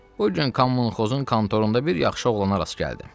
Bu gün Kommunxozun kontorunda bir yaxşı oğlana rast gəldim.